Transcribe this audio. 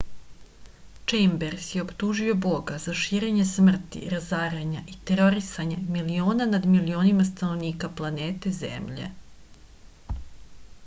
čejmbers je optužio boga za širenje smrti razaranje i terorisanje miliona nad milionima stanovnika planete zemlje